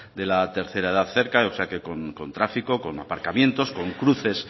de la tercera edad cerca o sea que con tráfico con aparcamientos con cruces